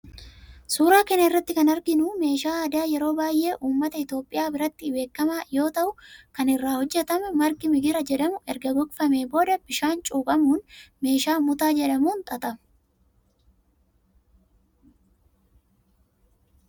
Suuraa kana irratti kan arginu meeshaa aadaa yeroo baayyee ummata itiyoophiyaa biratti beekamaa yoo ta'u kan irraa hojjetamu margi migira jedhamu erga gogfamee booda bishaan cuuphamuun meeshaa mutaa jedhamuun xaxama.